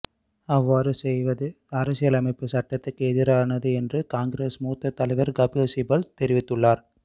அவ்வாறு செய்வது அரசியலமைப்புச் சட்டத்துக்கு எதிரானது என்று காங்கிரஸ் மூத்த தலைவர் கபில் சிபல் தெரிவித்துள்ளார்